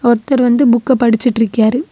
ஒருத்தர் வந்து புக்க படிச்சிட்டு இருக்கியாரு.